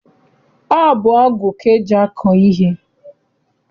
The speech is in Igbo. Ọ bụ ọgụ ka eji akọ ihe.